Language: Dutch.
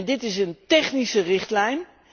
Dit is een technische richtlijn.